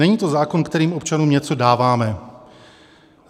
Není to zákon, kterým občanům něco dáváme.